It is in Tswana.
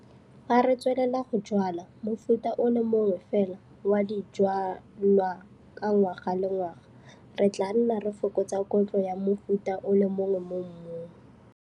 Fa re tswelela go jwala mofuta o le mongwe fela wa dijwalwa ka ngwaga le ngwaga re tlaa nna re fokotsa kotlo ya mofuta o le mongwe mo mmung.